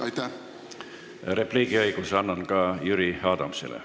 Annan repliigiõiguse ka Jüri Adamsile.